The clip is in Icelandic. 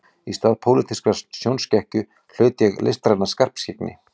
Í stað pólitískrar sjónskekkju hlaut ég listræna skarpskyggni